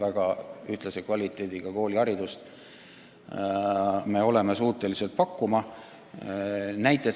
Me oleme suutelised pakkuma väga ühtlase kvaliteediga kooliharidust.